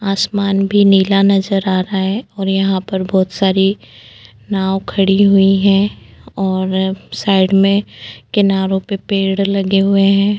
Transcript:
आसमान भी नीला नजर आ रहा है और यहाँ पर बहोत सारी नाव खड़ी हुई हैं और साइड में किनारों पर पेड़ लगे हुए हैं।